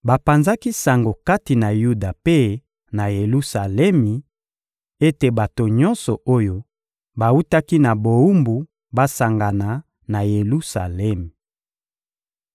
Bapanzaki sango kati na Yuda mpe na Yelusalemi ete bato nyonso oyo bawutaki na bowumbu basangana na Yelusalemi.